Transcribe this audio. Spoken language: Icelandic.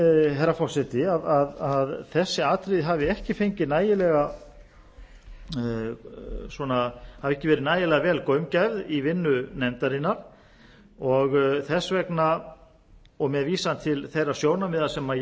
herra forseti að þessi atriði hafi ekki verið nægilega vel gaumgæfð í vinnu nefndarinnar og þess vegna og og með vísan til þeirra sjónarmiða sem ég